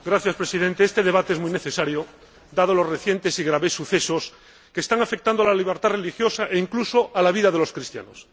Señor Presidente, este debate es muy necesario, dados los recientes y graves sucesos que están afectando a la libertad religiosa e incluso a la vida de los cristianos.